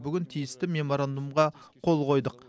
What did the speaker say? бүгін тиісті меморандумға қол қойдық